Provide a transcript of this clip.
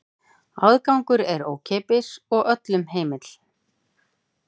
Aðgangur er ókeypis og öllum heimill.